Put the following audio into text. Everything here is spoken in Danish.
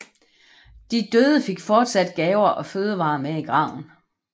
De døde fik fortsat gaver og fødevarer med i graven